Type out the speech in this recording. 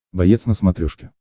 боец на смотрешке